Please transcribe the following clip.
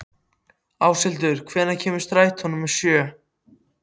Áshildur, hvenær kemur strætó númer sjö?